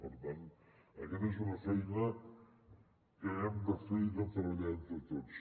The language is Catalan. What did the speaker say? per tant aquesta és una feina que hem de fer i treballar entre tots